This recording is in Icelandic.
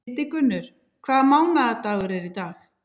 Hildigunnur, hvaða mánaðardagur er í dag?